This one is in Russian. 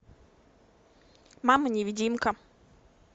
мама невидимка